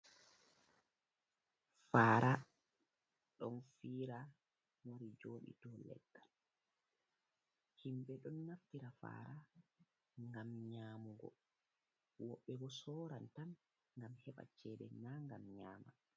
Fara ɗon fira wari joɗi dou leggal himɓɓe ɗon naftira fara ngam nyamugo, wobɓe bo soran tan gam heɓa cede na ngam nyama.